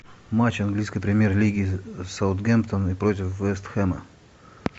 матч английской премьер лиги саутгемптон против вест хэма